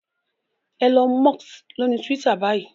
Elon Musk lóni Twitter báyìí.